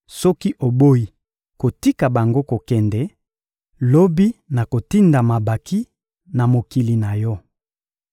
Soki oboyi kotika bango kokende, lobi nakotinda mabanki na mokili na yo.